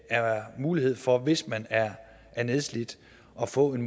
er mulighed for hvis man er er nedslidt at få en